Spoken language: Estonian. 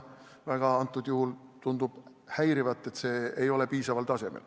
Antud juhul tundub teid häirivat, et nende eesti keel ei ole piisaval tasemel.